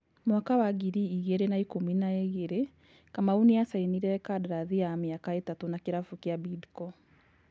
Mwaka wa ngiri igĩrĩ na ikũmi na igĩrĩ, Kamau nĩasainire kandarathi ya mĩaka ĩtatũ na kĩrabũ kĩa Bidco.